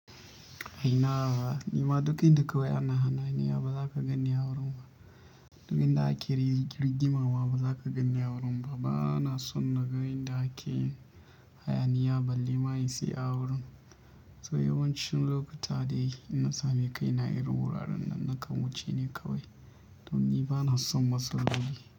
A ina ba ni ma duk inda kawai ana hana haya, ba za ka gani a wurin ba. Duk inda ake rigima ma ba za ka gani a wurin ba. Bana son nagan da ake hayyaniya balle ma in saya a wurin. To yawancin lokuta da ina sami kai na irin wuraren nan, nakan wuce ne kawai. Don ni bana son masu rugi.